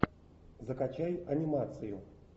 закачай анимацию